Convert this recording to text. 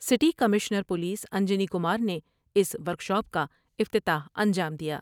City commissioner police Anjani Kumar نے اس workshop کا افتتاح انجام دیا ۔